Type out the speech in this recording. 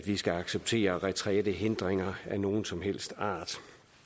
skal acceptere retrætehindringer af nogen som helst art